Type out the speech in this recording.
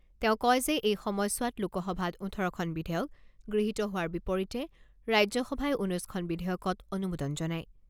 তেওঁ কয় যে এই সময়ছোৱাত লোকসভাত ওঠৰখন বিধেয়ক গৃহীত হোৱাৰ বিপৰীতে ৰাজ্যসভাই ঊনৈছখন বিধেয়কত অনুমোদন জনায়।